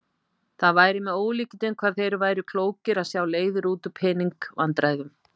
Það væri með ólíkindum hvað þeir væru klókir að sjá leiðir út úr pening- vandræðum.